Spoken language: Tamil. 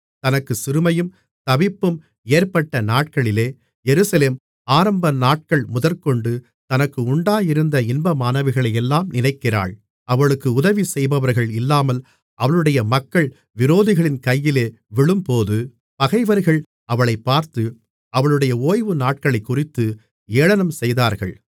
தனக்குச் சிறுமையும் தவிப்பும் ஏற்பட்ட நாட்களிலே எருசலேம் ஆரம்பநாட்கள் முதற்கொண்டு தனக்கு உண்டாயிருந்த இன்பமானவைகளையெல்லாம் நினைக்கிறாள் அவளுக்கு உதவிசெய்பவர்கள் இல்லாமல் அவளுடைய மக்கள் விரோதிகளின் கையிலே விழும்போது பகைவர்கள் அவளைப் பார்த்து அவளுடைய ஓய்வு நாட்களைக் குறித்து ஏளனம் செய்தார்கள்